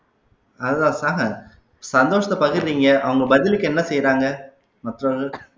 சந்தோஷத்தை பகிர்றீங்க அவங்க பதிலுக்கு என்ன செய்யறாங்க மற்றவர்கள்